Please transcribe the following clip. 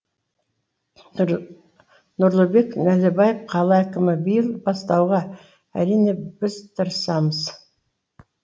нұрлыбек нәлібаев қала әкімі биыл бастауға әрине біз тырысамыз